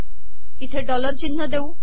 इथे डॉलर िचनह देऊ